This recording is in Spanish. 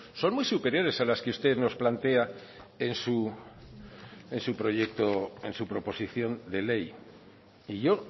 son muy superiores a la que usted nos plantea en su proposición de ley y yo